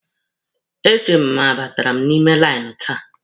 E che m ma a batara m n'ime lainụ taa.